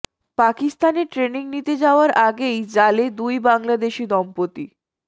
পাকিস্তানে ট্রেনিং নিতে যাওয়ার আগেই জালে দুই বাংলাদেশি দম্পতি